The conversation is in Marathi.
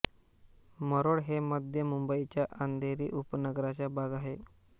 मरोळ हे मध्य मुंबईच्या अंधेरी उपनगराचा भाग आहे